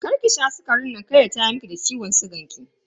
Karki sha sukarin nan kar ya tayar miki da ciwon sigan ki.